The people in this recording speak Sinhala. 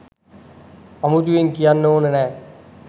අමුතුවෙන් කියන්න ඕන නෑ